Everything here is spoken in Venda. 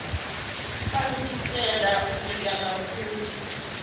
a lugisela u bika mafhuri